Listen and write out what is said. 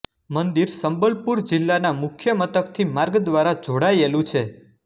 મંદિર સંબલપુર જિલ્લાના મુખ્ય મથકથી માર્ગ દ્વારા જોડાયેલું છે